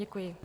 Děkuji.